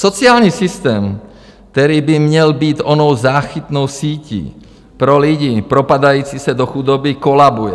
Sociální systém, který by měl být onou záchytnou sítí pro lidi propadající se do chudoby, kolabuje.